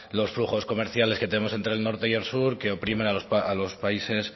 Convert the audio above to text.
los flujos comerciales que tenemos entre el norte y el sur que oprimen a los países